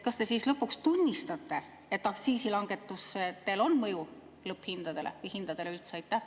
Kas te siis lõpuks tunnistate, et aktsiisilangetustel on mõju lõpphinnale või hinnale üldse?